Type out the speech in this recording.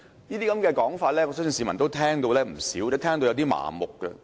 這些說法，我相信市民已經聽過不少，亦聽到麻木。